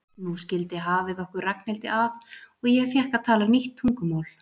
Nú skildi hafið okkur Ragnhildi að og ég fékk að tala nýtt tungumál.